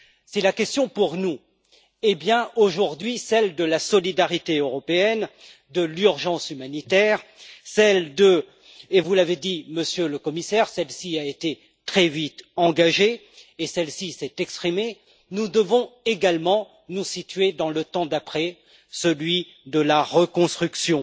Si la question pour nous aujourd'hui est bien celle de la solidarité européenne, de l'urgence humanitaire, et vous l'avez dit, Monsieur le Commissaire celle ci a été très vite engagée et celle ci s'est exprimée, nous devons également nous situer dans le temps d'après celui de la reconstruction